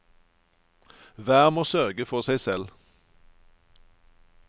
Hver må sørge for seg selv.